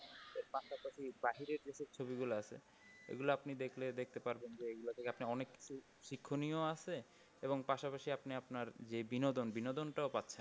এর পাশাপাশি বাহিরের যে সব ছবি গুলা আছে এগুলা আপনি দেখলে দেখতে পারবেন এইগুলো থেকে আপনি অনেক কিছু শিক্ষণীয় আছে এবং পাশাপাশি আপনি আপনার যে বিনোদন বিনোদনটাও পারছেন।